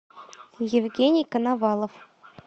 евгений коновалов